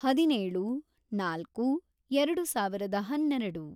ಹದಿನೇಳು, ನಾಲ್ಕು, ಎರೆಡು ಸಾವಿರದ ಹನ್ನೆರೆಡು